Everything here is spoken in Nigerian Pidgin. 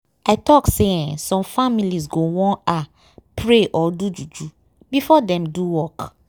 i talk say eeh some families go wan ah pray or do juju before dem do work.